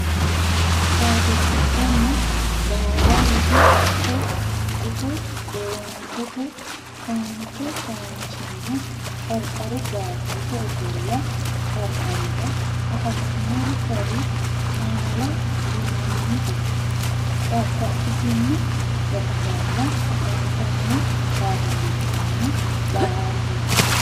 Badillichonna baara widi haqqe gufo Gorontete foonchi foonchinna qarqaru baattote ofolla qarqarira afamannori gari maala linanniho babbaxxitino gaxigalla afantanno Badillichonna baara.